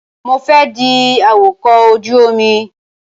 Mo fẹ́ di awakọ̀ ojú omi.